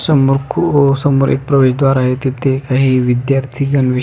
समोर खू समोर एक प्रवेश द्वार आहे तिथे काही विद्यार्थी गणवेश--